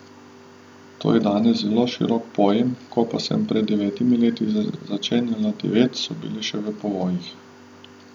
To je danes zelo širok pojem, ko pa sem pred devetimi leti začenjala devet, so bila še v povojih.